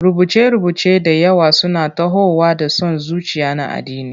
Rubuce-rubuce da yawa suna tahowa da son zuciya na addini.